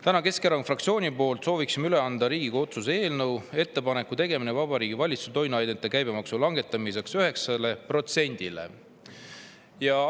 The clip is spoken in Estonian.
Täna soovin Keskerakonna fraktsiooni nimel üle anda Riigikogu otsuse "Ettepaneku tegemine Vabariigi Valitsusele toiduainete käibemaksu langetamiseks 9‑le protsendile" eelnõu.